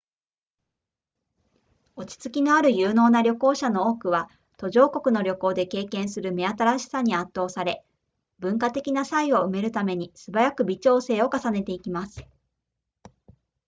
落ち着きのある有能な旅行者の多くは途上国の旅行で経験する目新しさに圧倒され文化的な差異を埋めるためにすばやく微調整を重ねていきます